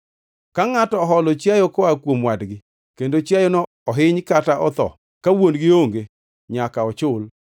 “Ka ngʼato oholo chiayo koa kuom wadgi kendo chiayono ohiny kata otho ka wuon-gi onge, nyaka ochul.